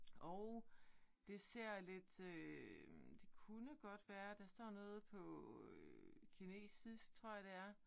Og det ser lidt øh det kunne godt være der står noget på kinesisk tror jeg det er